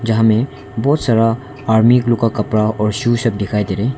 यहां मैं बहुत सारा आर्मी लोग का कपड़ा और शूज दिखाई दे रहा है।